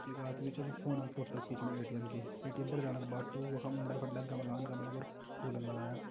एक आदमी छ जू फोन फोटो खींचनु एटीएम की एटीएम पर जाना का बाटों ऊडें फडें गमलान गमलों पर फूलन लगायां।